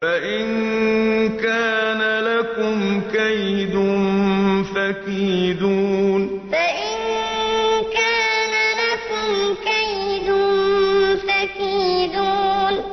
فَإِن كَانَ لَكُمْ كَيْدٌ فَكِيدُونِ فَإِن كَانَ لَكُمْ كَيْدٌ فَكِيدُونِ